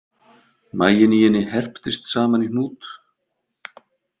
Maginn í henni herptist saman í hnút.